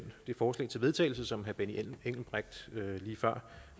forslag til vedtagelse som herre benny engelbrecht